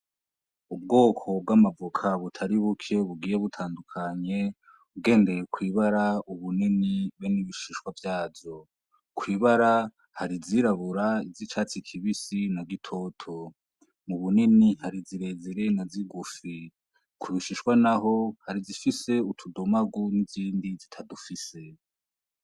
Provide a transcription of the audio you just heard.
Ubwoko bw'amavoka butari buke bugiye butandukanye, ugendeye kw'ibara, ubunini, be n'ibishishwa vyazo, kw'ibara hari izirabura izicatsi kibisi na gitoto, mu bunini hari zirezire na zigufi, kubishishwa naho hari izifise utudomagu n'izindi zitadufise.